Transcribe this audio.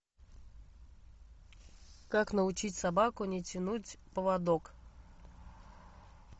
как научить собаку не тянуть поводок